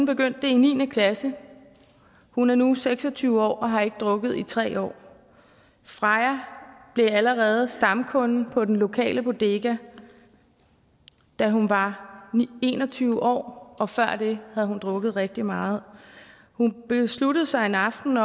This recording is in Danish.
begyndte det i niende klasse hun er nu seks og tyve år og har ikke drukket i tre år freja blev allerede stamkunde på den lokale bodega da hun var en og tyve år og før det havde hun drukket rigtig meget hun besluttede sig en aften